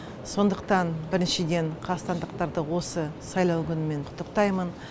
сондықтан біріншіден қазақстандықтарды осы сайлау күнімен құттықтаймын